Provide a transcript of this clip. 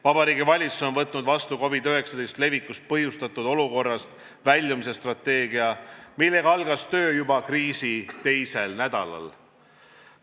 Vabariigi Valitsus on võtnud vastu COVID-19 levikust põhjustatud olukorrast väljumise strateegia, millega algas töö juba kriisi teisel nädalal.